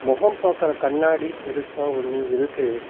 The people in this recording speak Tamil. முகம் பாக்குற கண்ணாடி பெருசா ஒன்னு இருக்கு.